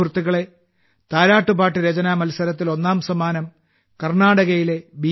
സുഹൃത്തുക്കളെ താരാട്ട് പാട്ട് രചനാ മത്സരത്തിൽ ഒന്നാം സമ്മാനം കർണാടകയിലെ ബി